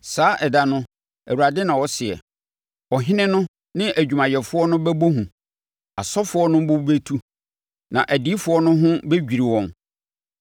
“Saa ɛda no,” Awurade na ɔseɛ, “ɔhene no ne adwumayɛfoɔ no bɛbɔ hu, asɔfoɔ no bo bɛtu, na adiyifoɔ no ho bɛdwiri wɔn.”